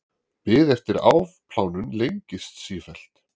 Bið eftir afplánun lengist sífellt